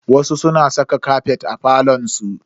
Wasu suna saka kafet a falon su.